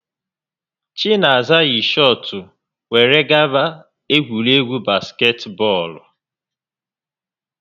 Chinaza yi shọọtụ were gaba egwuregwu basketbọọlụ